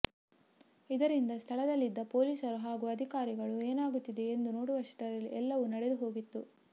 ಇದರಿಂದ ಸ್ಥಳದಲ್ಲಿದ್ದ ಪೊಲೀಸರು ಹಾಗೂ ಅಧಿಕಾರಿಗಳು ಏನಾಗುತ್ತಿದೆ ಎಂದು ನೋಡುವಷ್ಟರಲ್ಲಿ ಎಲ್ಲವೂ ನಡೆದು ಹೋಗಿತ್ತು